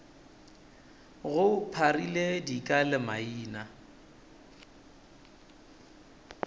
go pharile dika le maina